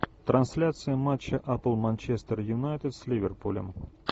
трансляция матча апл манчестер юнайтед с ливерпулем